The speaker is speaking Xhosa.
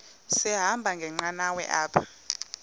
sahamba ngenqanawa apha